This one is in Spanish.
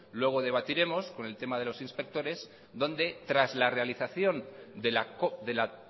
luego lo debatiremos con el tema de los inspectores donde tras la realización de la